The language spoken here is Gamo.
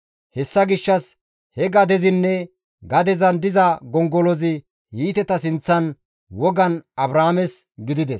Hessa gishshas he gadezinne gadezan diza gongolozi Hiiteta sinththan wogan Abrahaames gidides.